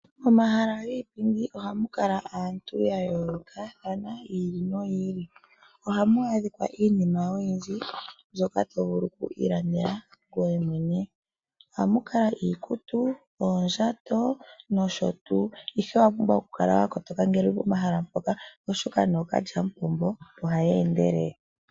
Omahala giipindi oha mu kala aantu ya yoolokathana yi ili noyi ili, ohamu adhika iinima oyindji mbyoka to vulu okuyi ilandela ngoye mwene. Oha mu kala iikutu, oondjato nosho tuu. Ihe owa pumbwa oku kala wa kotoka ngele wu li pomahala mpoka oshoka nookalyamupombo oha ya endelele.